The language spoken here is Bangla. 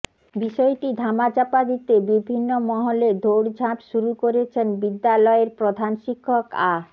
বিষয়টি ধামা চাপা দিতে বিভিন্ন মহলে দৌড়ঝাঁপ শুরু করেছেন বিদ্যালযের প্রধান শিক্ষক আ